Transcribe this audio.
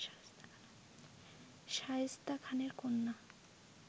শায়েস্তা খানের কন্যা